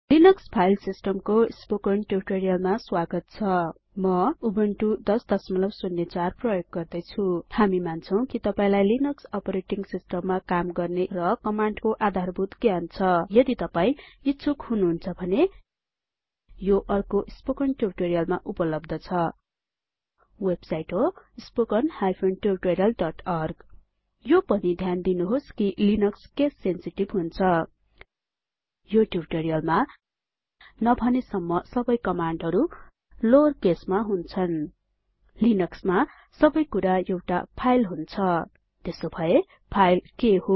Linux file सिस्टमको spoken ट्युटोरीयलमा स्वागत छ म उबुन्टु १००४ प्रयोग गर्दैछु हामी मान्छौं कि तपाइलाई लिनक्स अपरेटिंग सिस्टममा काम गर्ने ज्ञान छ र कमान्डको आधारभूत जानकारी छ यदि तपाई इच्छुक हुनुहुन्छ भने यो अर्को स्पोकन ट्युटोरीयलमा उपलब्ध छवेबसाइट होhttpspoken tutorialorg यो पनि ध्यान दिनुहोस कि लिनक्स केस सेन्सिटिभ हुन्छ यो ट्युटोरीयलमा नभनेसम्म सबै कमाण्डहरु लोअर केसमा हुन्छ लिनक्समा सबैकुरा एउटा फाइल हुन्छ त्यसोभए फाइल के हो